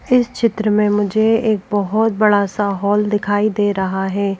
इस चित्र में मुझे एक बहुत बड़ा सा हॉल दिखाई दे रहा है।